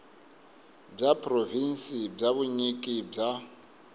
bya provhinsi bya vunyiki bya